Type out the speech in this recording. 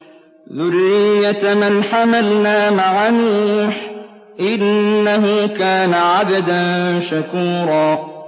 ذُرِّيَّةَ مَنْ حَمَلْنَا مَعَ نُوحٍ ۚ إِنَّهُ كَانَ عَبْدًا شَكُورًا